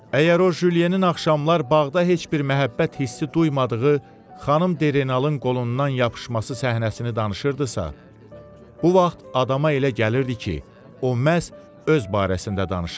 Əgər o Julienin axşamlar bağda heç bir məhəbbət hissi duymadığı xanım Derenalın qolundan yapışması səhnəsini danışırdısa, bu vaxt adama elə gəlirdi ki, o məhz öz barəsində danışır.